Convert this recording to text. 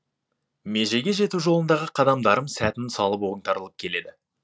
межеге жету жолындағы қадамдарым сәтін салып оңтарылып келеді